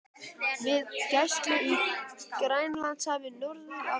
við gæslu í Grænlandshafi norður af Íslandi.